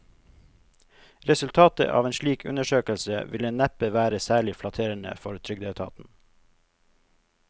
Resultatet av en slik undersøkelse ville neppe være særlig flatterende for trygdeetaten.